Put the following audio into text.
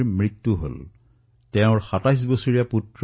অমুৰ্থা ৱল্লীৰ স্বামী হৃদৰোগত আক্ৰান্ত হৈ মৃত্যু মুখত পৰিছে